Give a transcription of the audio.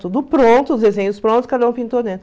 Tudo pronto, os desenhos prontos, cada um pintou dentro.